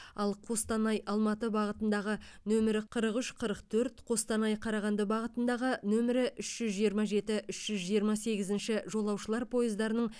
ал қостанай алматы бағытыдағы нөмірі қырық үш қырық төрт қостанай қарағанды бағытындағы нөмірі үш жүз жиырма жеті үш жүз жиырма сегізінші жолаушылар пойыздарының